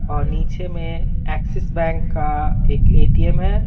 और नीचे में एक्सिस बैंक का एक ए-टी-एम है।